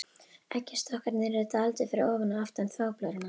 Eggjastokkarnir eru dálítið fyrir ofan og aftan þvagblöðruna.